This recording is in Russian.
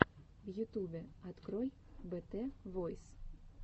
в ютубе открой бэтэ войс